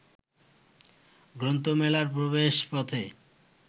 গ্রন্থমেলার প্রবেশপথে